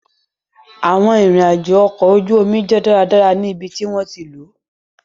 Awọn irin-ajo ọkọ oju omi jẹ daradara ni ibiti wọn ti lo